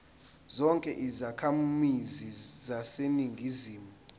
zonke izakhamizi zaseningizimu